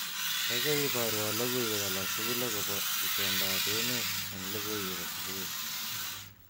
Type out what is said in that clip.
Kaikai iborwo logoiwek alatugul akobo itondoab emet eng logoiwekab subui